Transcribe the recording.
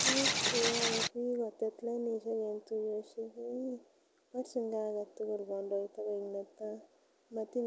Tuguk cheyoe biik kotet lainishek en tuiyoshek ko ih borchin gee aketugul kondoita koik netaa motin